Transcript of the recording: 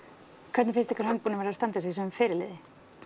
hvernig finnst ykkur hann búinn að vera að standa sig sem fyrirliði